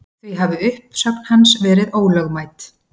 Því hafi uppsögn hans verið ólögmæt